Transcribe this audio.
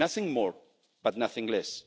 it. Nothing more, but nothing less.